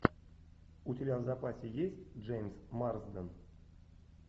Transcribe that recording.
у тебя в запасе есть джеймс марсден